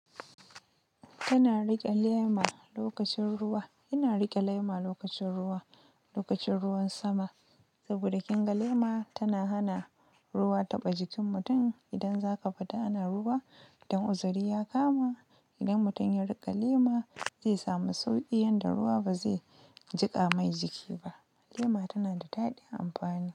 Yana riƙe lema lokacin ruwa, yana riƙe lema lokacin ruwa, lokacin ruwan sama. Saboda ƙinga lema tana hana ruwa taɓa jikin mutum. Idan zaka fita ana ruwa, dan uzuri ya kama, idan mutum ya rika lema, zai samu sauki yadda ruwa ba zai jika mai jiki ba lema tana da daɗin amfani.